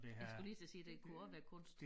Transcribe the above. Jeg skulle lige til at sige det kunne også være kunst